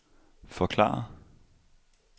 forklare